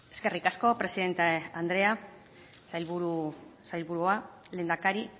eskerrik asko presidente andrea lehendakari